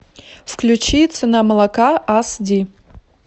включи цена молока ас ди